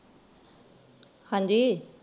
ਹਾਂਜੀ।